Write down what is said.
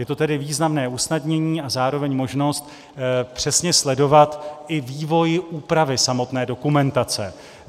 Je to tedy významné usnadnění a zároveň možnost přesně sledovat i vývoj úpravy samotné dokumentace.